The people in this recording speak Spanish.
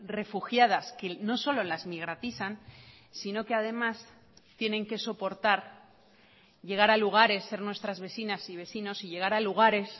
refugiadas que no solo las migratizan sino que además tienen que soportar llegar a lugares ser nuestras vecinas y vecinos y llegar a lugares